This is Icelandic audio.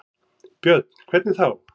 Björn: Hvernig þá?